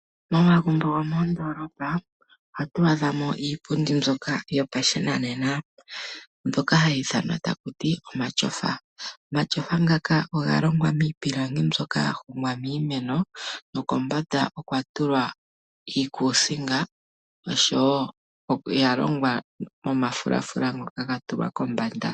Momagumbo gomoondoolopa ohatu adhamo iipundi mbyoka yopashinanena mbyoka hayi ithanwa takuti omatyofa. Omatyofa ngaka oga longwa miipilangi mbyoka ya hongwa miimeno nokombanda okwatulwa iikuusinga ,oshowo oya longwa momafulafila ngoka gatulwa kombanda.